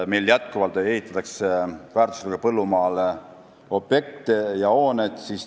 Meil ehitatakse endiselt väärtuslikule põllumaale objekte ja hooneid.